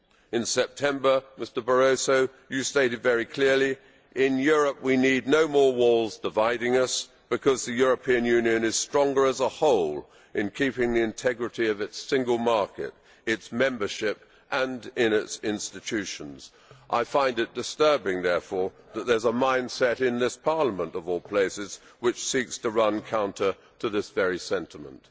In September, Mr Barroso, you stated very clearly in Europe we need no more walls dividing us, because the European Union is stronger as a whole in keeping the integrity of its single market, its membership and its institutions. I find it disturbing, therefore, that there is a mindset, in this Parliament of all places, which seeks to run counter to that very sentiment.